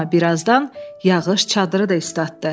Amma birazdan yağış çadırı da islatdı.